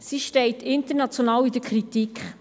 Sie steht international in der Kritik;